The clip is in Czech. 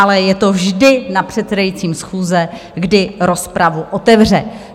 Ale je to vždy na předsedajícím schůze, kdy rozpravu otevře.